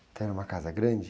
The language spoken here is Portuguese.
Então era uma casa grande?